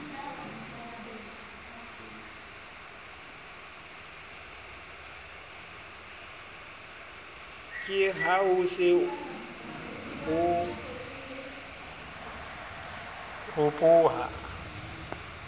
ke haho se ho ropoha